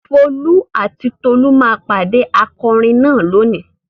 Folú àti Tolú máa pàdé akọrin náà lónìí.